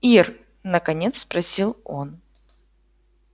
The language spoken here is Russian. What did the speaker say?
ир наконец спросил он